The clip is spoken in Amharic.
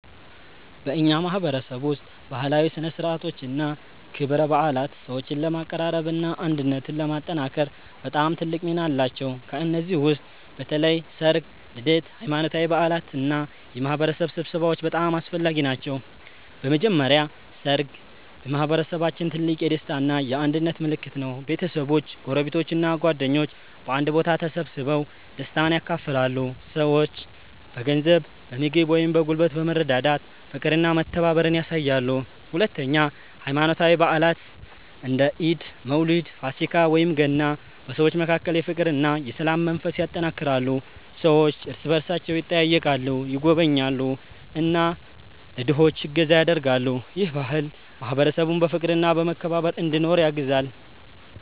በእኛ ማህበረሰብ ውስጥ ባህላዊ ሥነ ሥርዓቶችና ክብረ በዓላት ሰዎችን ለማቀራረብና አንድነትን ለማጠናከር በጣም ትልቅ ሚና አላቸው። ከእነዚህ ውስጥ በተለይ ሠርግ፣ ልደት፣ ሃይማኖታዊ በዓላት እና የማህበረሰብ ስብሰባዎች በጣም አስፈላጊ ናቸው። በመጀመሪያ ሠርግ በማህበረሰባችን ትልቅ የደስታ እና የአንድነት ምልክት ነው። ቤተሰቦች፣ ጎረቤቶች እና ጓደኞች በአንድ ቦታ ተሰብስበው ደስታን ያካፍላሉ። ሰዎች በገንዘብ፣ በምግብ ወይም በጉልበት በመረዳዳት ፍቅርና መተባበርን ያሳያሉ። ሁለተኛ ሃይማኖታዊ በዓላት እንደ ኢድ፣ መውሊድ፣ ፋሲካ ወይም ገና በሰዎች መካከል የፍቅርና የሰላም መንፈስ ያጠናክራሉ። ሰዎች እርስ በእርሳቸው ይጠያየቃሉ፣ ይጎበኛሉ እና ለድሆች እገዛ ያደርጋሉ። ይህ ባህል ማህበረሰቡን በፍቅርና በመከባበር እንዲኖር ያግዛል።